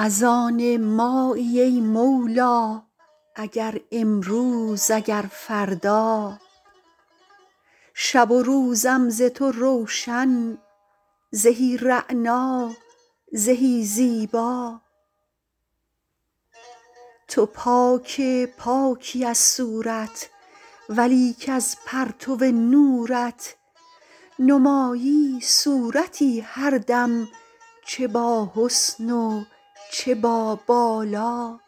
از آن مایی ای مولا اگر امروز اگر فردا شب و روزم ز تو روشن زهی رعنا زهی زیبا تو پاک پاکی از صورت ولیک از پرتو نورت نمایی صورتی هر دم چه باحسن و چه بابالا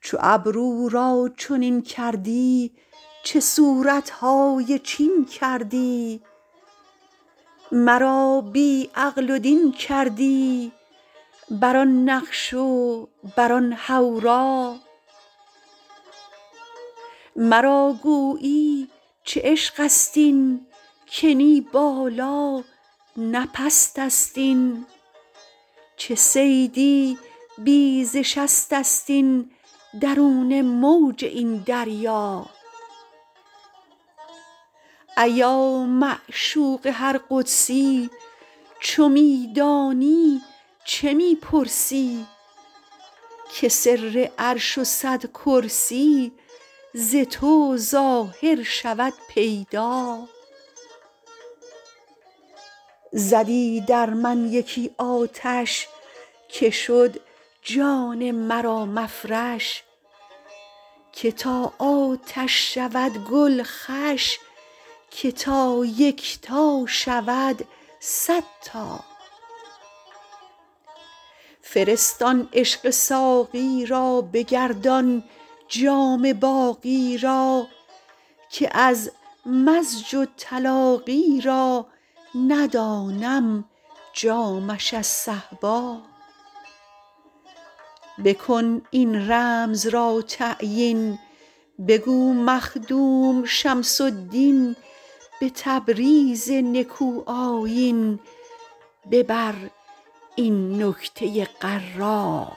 چو ابرو را چنین کردی چه صورت های چین کردی مرا بی عقل و دین کردی بر آن نقش و بر آن حورا مرا گویی چه عشقست این که نی بالا نه پستست این چه صیدی بی ز شستست این درون موج این دریا ایا معشوق هر قدسی چو می دانی چه می پرسی که سر عرش و صد کرسی ز تو ظاهر شود پیدا زدی در من یکی آتش که شد جان مرا مفرش که تا آتش شود گل خوش که تا یکتا شود صد تا فرست آن عشق ساقی را بگردان جام باقی را که از مزج و تلاقی را ندانم جامش از صهبا بکن این رمز را تعیین بگو مخدوم شمس الدین به تبریز نکوآیین ببر این نکته غرا